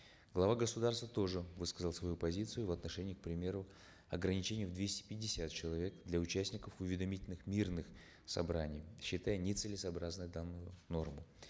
глава государства тоже высказал свою позицию в отношении к примеру ограничений в двести пятьдесят человек для участников уведомительных мирных собраний считая нецелесообразным данную норму